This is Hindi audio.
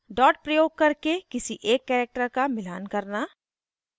dot प्रयोग करके किसी एक character का मिलान करना